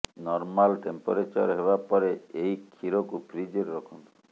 normal temperature ହେବା ପରେ ଏହି କ୍ଷୀରକୁ ଫ୍ରିଜରେ ରଖନ୍ତୁ